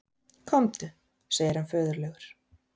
Komdu, segir hann föðurlegur.